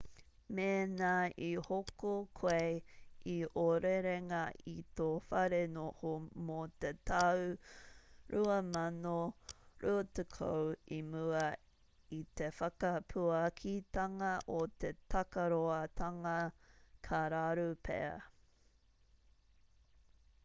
mēnā i hoko koe i ō rerenga i tō whare noho mō te tau 2020 i mua i te whakapuakitanga o te takaroatanga ka raru pea